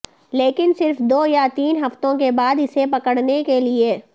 لیکن صرف دو یا تین ہفتوں کے بعد اسے پکڑنے کے لئے